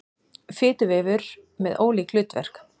Fituvefur með ólík hlutverk